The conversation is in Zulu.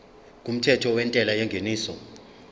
kumthetho wentela yengeniso